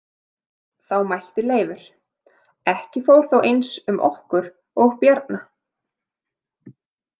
Þá mælti Leifur: Ekki fór þó eins um okkur og Bjarna.